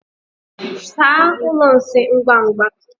Saa ụlọ nsị ngwa ngwa!